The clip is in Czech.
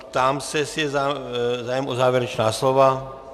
Ptám se, jestli je zájem o závěrečná slova.